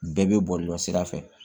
Bɛɛ bɛ bɔlɔlɔ sira fɛ